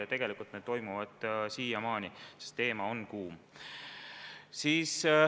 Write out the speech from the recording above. Ja tegelikult need toimuvad siiamaani, sest teema on kuum.